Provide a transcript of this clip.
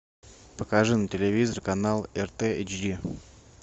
покажи на телевизоре канал рт эйч ди